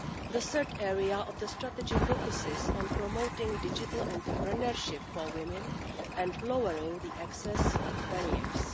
The third area of the strategy focuses on promoting digital entrepreneurship for women and lowering access barriers.